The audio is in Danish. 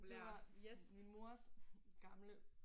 Det var min mors gamle